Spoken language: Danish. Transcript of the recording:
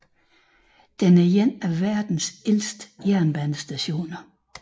Den er en af verdens ældste jernbanestationer